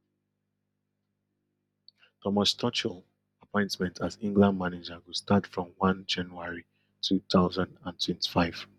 thomas tuchel appointment as england manager go start from one january two thousand and twenty-five